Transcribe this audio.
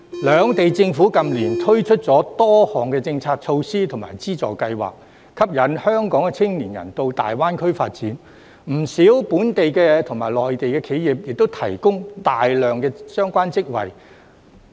兩地政府近年推出了多項政策措施及資助計劃，吸引香港的青年人到大灣區發展，不少本港及內地企業亦提供大量相關職位。